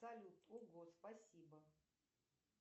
салют ого спасибо